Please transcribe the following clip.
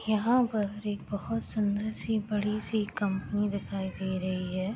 यहाँ पर एक बहोत सुंदर सी बड़ी सी कंपनी दिखाई दे रही है।